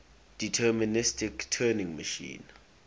deterministic turing machine